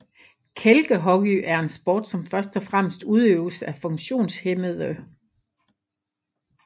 Kælkehockey er en sport som først og fremmest udøves af funktionshæmmede